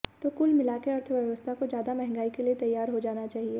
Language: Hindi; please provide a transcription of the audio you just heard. तो कुल मिलाकर अर्थव्यवस्था को ज्यादा महंगाई के लिए तैयार हो जाना चाहिए